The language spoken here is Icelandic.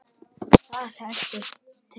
Þau hendast til.